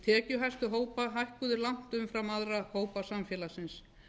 tekjuhæstu hópa hækkuðu langt umfram aðra hópa samfélagsins